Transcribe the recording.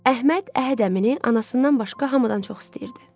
Əhməd Əhəd əmini anasından başqa hamıdan çox istəyirdi.